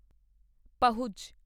ਪਹੁਜ